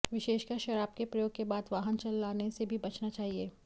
विशेषकर शराब के प्रयोग के बाद वाहन चलाने से भी बचना चाहिए